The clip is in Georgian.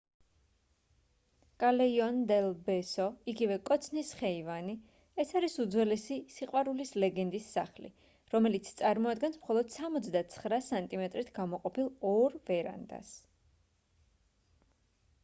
callejon del beso იგივე კოცნის ხეივანი. ეს არის უძველესი სიყვარულის ლეგენდის სახლი რომელიც წარმოადგენს მხოლოდ 69 სანტიმეტრით გამოყოფილ ორ ვერანდას